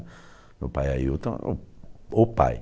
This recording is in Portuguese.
Meu pai Ailton é o pai.